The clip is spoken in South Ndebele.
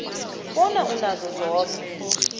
bona unazo zoke